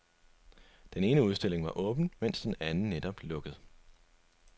Den ene udstilling var åben, men den anden var netop lukket.